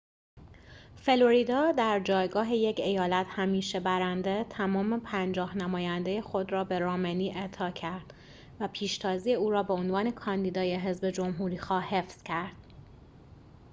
فلوریدا در جایگاه یک ایالت همیشه برنده تمام پنجاه نماینده خود را به رامنی اعطا کرد و پیشتازی او را به عنوان کاندیدای حزب جمهوری‌خواه حفظ کرد